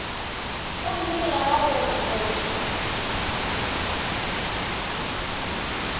gomme ya ba gore o